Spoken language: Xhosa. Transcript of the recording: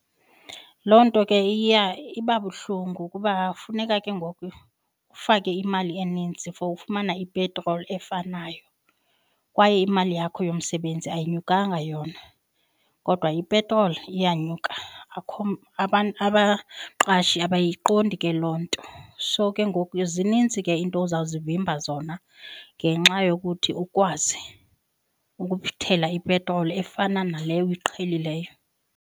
Loo nto ke iba buhlungu kuba funeka ke ngoku ufake imali eninzii for ufumana ipetroli efanayo kwaye imali yakho yomsebenzi ayinyukanga yona kodwa ipetroli iyanyuka. Abaqashi abayiqondi ke loo nto. So ke ngoku zinintsi ke iinto ozawuzivimba zona ngenxa yokuthi ukwazi ukuthela ipetroli efana nale uyiqhelileyo.